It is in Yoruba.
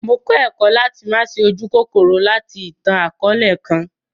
Mó kọ ẹkọ̀ lati ma ṣe ójukòkòrò lati ìtan-àkọọlẹ kan.